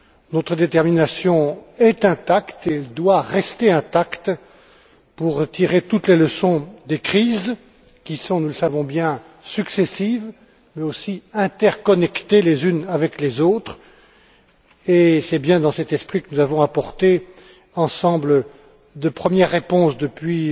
Notre détermination est intacte et doit le rester, à tirer toutes les leçons des crises qui sont, nous le savons bien, successives mais aussi interconnectées les unes aux autres, et c'est bien dans cet esprit que nous avons apporté, ensemble, de premières réponses depuis